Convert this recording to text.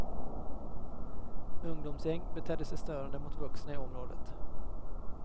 Ungdomsgäng betedde sig störande mot vuxna i området.